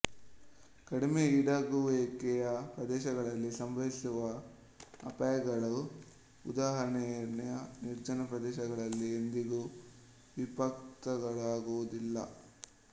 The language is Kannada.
ಕಡಿಮೆ ಈಡಾಗುವಿಕೆಯ ಪ್ರದೇಶಗಳಲ್ಲಿ ಸಂಭವಿಸುವ ಅಪಾಯಗಳು ಉದಾಹರಣೆಗೆ ನಿರ್ಜನ ಪ್ರದೇಶಗಳಲ್ಲಿ ಎಂದಿಗೂ ವಿಪತ್ತುಗಳಾಗುವುದಿಲ್ಲ